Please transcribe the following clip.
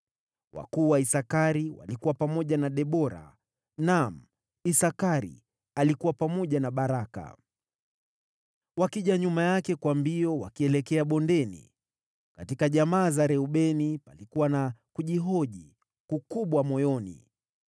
Wakuu wa Isakari walikuwa pamoja na Debora; naam, Isakari alikuwa pamoja na Baraka, wakija nyuma yake kwa mbio wakielekea bondeni. Katika jamaa za Reubeni, palikuwa na kujihoji kukubwa moyoni.